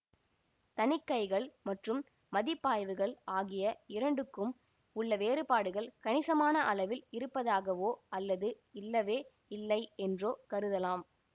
தணிக்கைகள் மற்றும் மதிப்பாய்வுகள் ஆகிய இரண்டுக்கும் உள்ள வேறுபாடுகள் கணிசமான அளவில் இருப்பதாகவோ அல்லது இல்லவே இல்லை என்றோ கருதலாம்